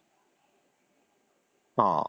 ହଁ